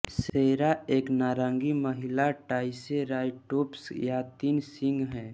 सेरा एक नारंगी महिला ट्राइसेराटोप्स या तीन सींग है